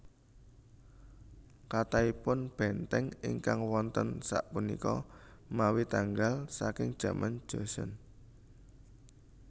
Kathahipun bèntèng ingkang wonten sapunika mawi tanggal saking jaman Joseon